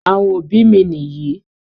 Àwọn òbí mi nìyí.